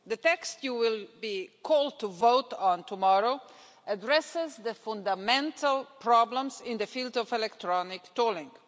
The text you will be asked to vote on tomorrow addresses the fundamental problems in the field of electronic tolling.